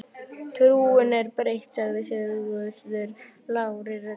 Trúin er breytt, sagði Sigurður lágri röddu.